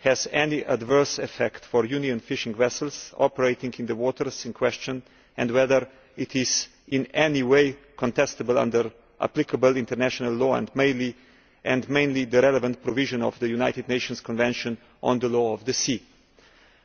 has any adverse effect for Union fishing vessels operating in the waters in question, and whether it is in any way contestable under applicable international law and the relevant provisions of the United Nations Convention on the Law of the Sea in particular.